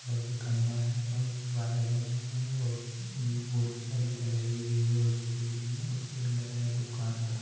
खाम्बा है और वायर जारहे है और उः बोहोतसारी गलेरी भी है उस बिल्डिंग में और बोर्ड लगा है दुकान का।